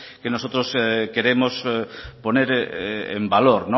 que nosotros queremos poner en valor